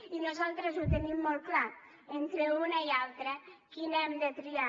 i nosaltres ho tenim molt clar entre una i altra quina hem de triar